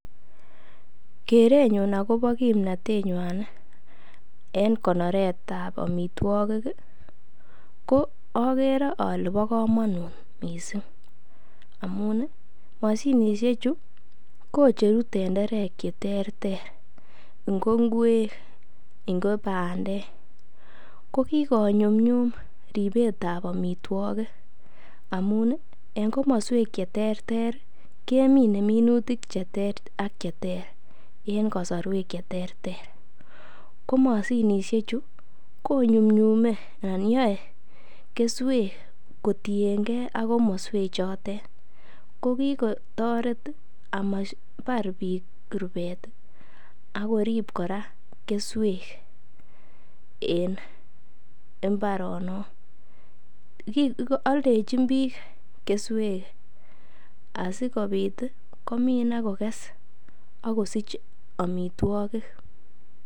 Kerenyun agobo kimnatenywa en konoret ab amitwogik ko ogere ole bo komonut mising amun moshinisheju kocheru tenderek che terter ngo ngwek ngo bandek. Ko kigonyumnyum ribetab amitwogik amun en komoswek che terter kemine minutik che ter ak che ter en kasarwek che terter. Ko moshinishechu konyunyume anan yoe keswek kotienge ak komoswechotet ko kigotoret ama bar biik rupet ak korib kora keswek en mbaronok. Aldechin biik keswek asikobit komin ak koges ak kosich amitwogik.